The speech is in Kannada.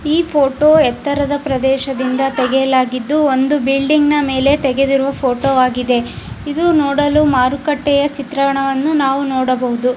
ಈ ಫೋಟೋ ಎತ್ತರದ ಪ್ರದೇಶದಿಂದ ತೆಗೆಯಲಾಗಿದ್ದು ಒಂದು ಬಿಲ್ಡಿಂಗ್ ನ ಮೇಲೆ ತೆಗೆದಿರು ಫೋಟೋ ಆಗಿದೆ. ಇದು ನೋಡಲು ಮಾರುಕಟ್ಟೆಯ ಚಿತ್ರಣವನ್ನು ನಾವು ನೋಡಬಹುದು .